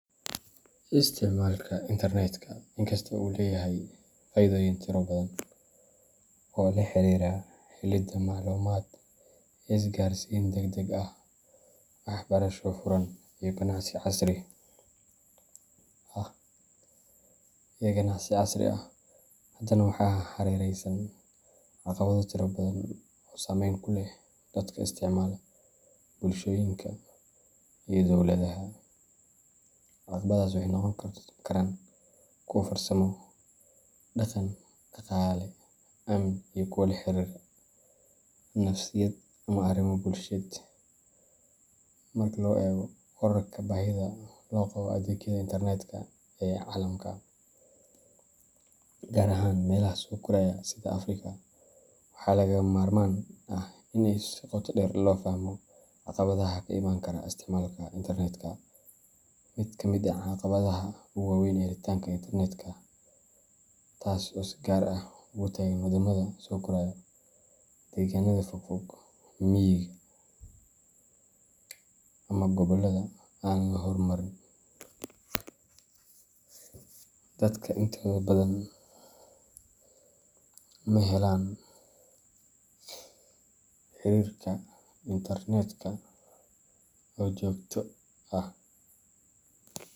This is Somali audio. Isticmaalka internetka, inkasta oo uu leeyahay faa’iidooyin tiro badan oo la xiriira helidda macluumaad, isgaarsiin degdeg ah, waxbarasho furan, iyo ganacsi casri ah, haddana waxaa hareeraysan caqabado tiro badan oo saameyn ku leh dadka isticmaala, bulshooyinka, iyo dowladaha. Caqabadahaas waxay noqon karaan kuwo farsamo, dhaqan, dhaqaale, amni, iyo kuwo la xiriira nafsiyad ama arrimo bulsheed. Marka la eego kororka baahida loo qabo adeegyada internetka ee caalamka, gaar ahaan meelaha soo koraya sida Afrika, waxaa lagama maarmaan ah in si qoto dheer loo fahmo caqabadaha ka imaan kara isticmaalka internetka. Mid ka mid ah caqabadaha ugu waaweyn waa helitaanka xadidan ee internetka taas oo si gaar ah ugu taagan waddamada soo koraya. Deegaannada fogfog, miyiga, ama gobollada aan la horumarin, dadka intooda badan ma helaan xiriirka internetka oo joogto ah .